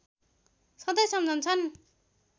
सधैँ सम्झन्छन्